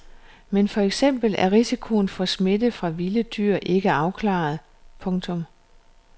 Men for eksempel er risikoen for smitte fra vilde dyr ikke afklaret. punktum